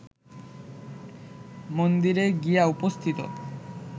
মন্দিরে গিয়া উপস্থিত